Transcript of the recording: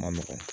Ma nɔgɔ